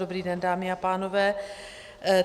Dobrý den, dámy a pánové.